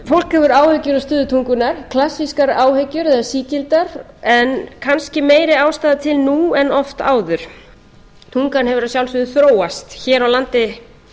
hefur áhyggjur af stöðu tungunnar klassískar áhyggjur eða sígildar en kannski meiri ástæða til nú en oft áður tungan hefur að sjálfsögðu þróast hér á landi